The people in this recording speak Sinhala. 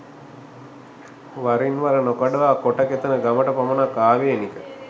වරින්වර නොකඩවා කොටකෙතන ගමට පමණක් ආවේනික